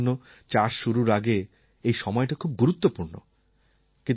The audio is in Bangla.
কৃষকদের জন্য চাষ শুরুর আগের এই সময়টা খুব গুরুত্বপূর্ণ